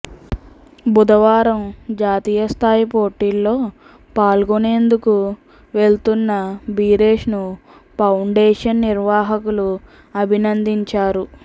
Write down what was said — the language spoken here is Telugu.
బుధవారం జాతీయస్థాయి పోటీల్లో పాల్గొనేందుకు వెళ్తున్న భిరేష్ను పౌండేషన్ నిర్వాహకులు అభినందించారు